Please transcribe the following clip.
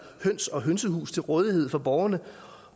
høns og hønsehus til rådighed for borgerne